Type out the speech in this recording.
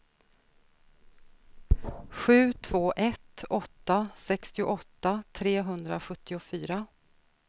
sju två ett åtta sextioåtta trehundrasjuttiofyra